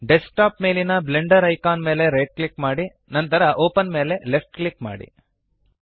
desk top ಮೇಲಿನ Blender icon ಮೇಲೆ right click ಮಾಡಿ ನಂತರ ಒಪೆನ್ ಮೇಲೆ ಲೆಫ್ಟ್ ಕ್ಲಿಕ್ ಮಾಡಿ